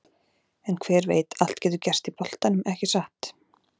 En hver veit allt getur gerst í boltanum, ekki satt?